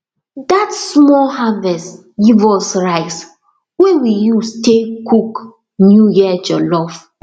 that small harvest give us rice wey we use tay cook new year jollof